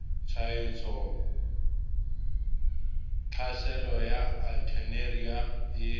tshwaetso tlhaselo ya alternaria e